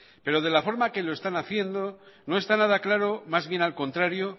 pero de la forma en que lo están haciendo no está nada claro más bien al contrario